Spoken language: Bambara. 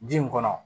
Ji in kɔnɔ